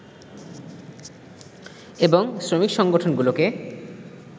এবং শ্রমিক সংগঠনগুলোকে